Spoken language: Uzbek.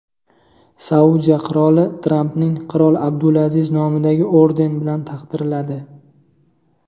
Saudiya qiroli Trampni qirol Abdulaziz nomidagi orden bilan taqdirladi.